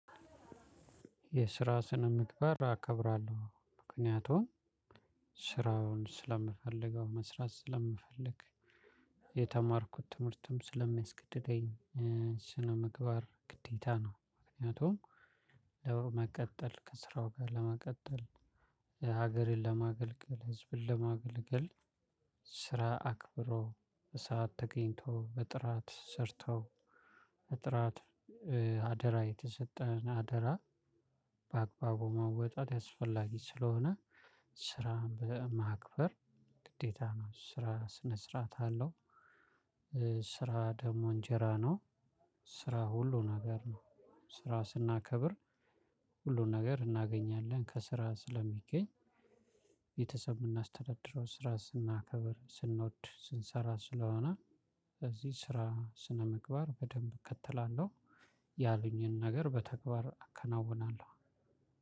የስራ ስነ ምግባር አከብራለሁ። ምክንያቱም ስራውን ስለምፈልገው፣ መስራት ስለምፈልግ፣ የተማርኩት ትምህርትም ስለሚያስገድደኝ ስነ ምግባር ምግባር ግዴታ ነው። ምክንያቱም ለወር መቀጠል፣ ከስራው ጋር ለመቀጠል፣ ሀገርን ለማገልገል፣ ህዝብን ለማገልገል ስራ አክብሮ በሰአት ተገኝቶ በጥራት ሰርቶ በጥራት አደራ የተሰጠን አደራ በአግባቡ መወጣት አስፈላጊ ስለሆነ ስራን በማክበር ግዴታ ነው። ስራ ስነ ስርዓት አለው። ስራ ደግሞ እንጀራ ነው። ስራ ሁሉ ነገር ነው። ስራ ስናከብር ሁሉን ነገር እናገኛለን። ከስራ ስለሚገኝ ቤተሰብ የምናስተዳድረው ስራ ስናከብር ስንወድ ስንሰራ ስለሆነ ስለዚህ ስራ ስነ ምግባር በደንብ እከተላለሁ። ያሉኝን ነገር በተግባር አከናውናለሁ።